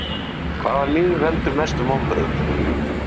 Hvaða lið veldur mestum vonbrigðum?